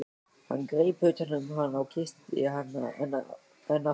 Hann greip utan um hana og kyssti hana enn aftur.